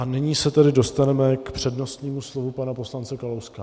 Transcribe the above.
A nyní se tedy dostaneme k přednostnímu slovu pana poslance Kalouska.